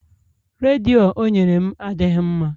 Redio o nyere m adịghị mma